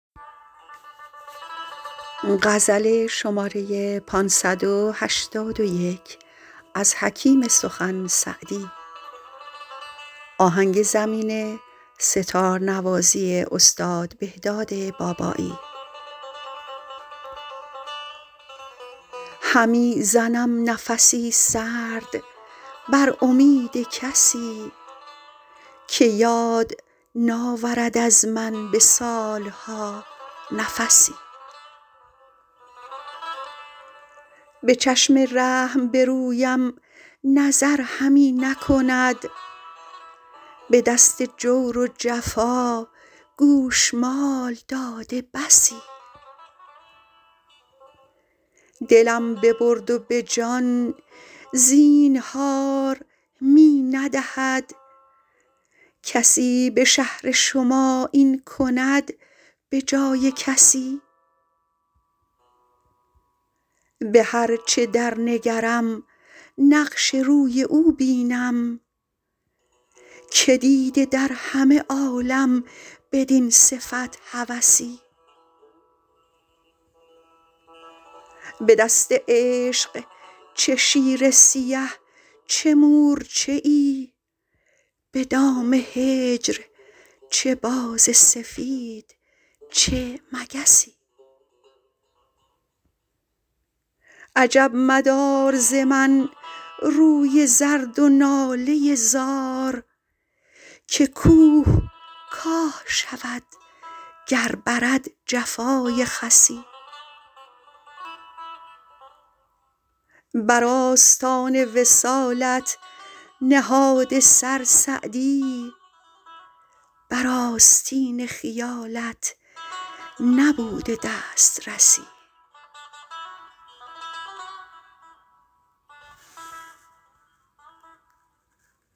همی زنم نفس سرد بر امید کسی که یاد ناورد از من به سال ها نفسی به چشم رحم به رویم نظر همی نکند به دست جور و جفا گوشمال داده بسی دلم ببرد و به جان زینهار می ندهد کسی به شهر شما این کند به جای کسی به هر چه در نگرم نقش روی او بینم که دیده در همه عالم بدین صفت هوسی به دست عشق چه شیر سیه چه مورچه ای به دام هجر چه باز سفید چه مگسی عجب مدار ز من روی زرد و ناله زار که کوه کاه شود گر برد جفای خسی بر آستان وصالت نهاده سر سعدی بر آستین خیالت نبوده دسترسی